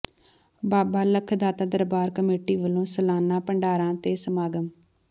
ਬਾਬਾ ਲੱਖ ਦਾਤਾ ਦਰਬਾਰ ਕਮੇਟੀ ਵੱਲੋਂ ਸਾਲਾਨਾ ਭੰਡਾਰਾ ਤੇ ਸਮਾਗਮ